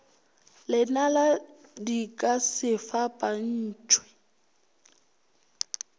lenala di ka se fapantšhwe